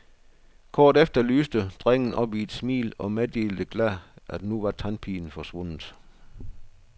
Kort efter lyste drengen op i et smil og meddelte glad, at nu var tandpinen forsvundet.